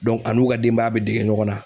dɔn a n'u ka denbaya be dege ɲɔgɔn na